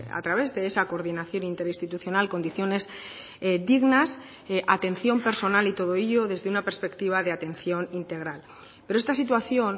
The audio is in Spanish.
a través de esa coordinación interinstitucional condiciones dignas atención personal y todo ello desde una perspectiva de atención integral pero esta situación